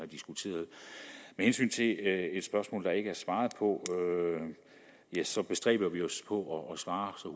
diskuteret med hensyn til et et spørgsmål der ikke er svaret på så bestræber vi os på at svare så